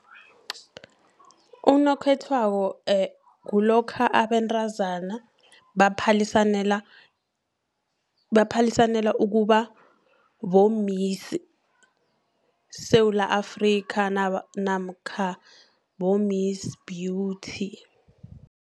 Unokhethwako kulokha abentrazana baphalisanela ukuba, bomisi-Sewula Afrika, namkha bomisi-beauty.